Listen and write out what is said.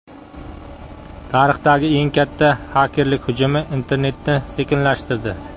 Tarixdagi eng katta xakerlik hujumi internetni sekinlashtirdi.